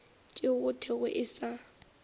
tšeo go thwego e sa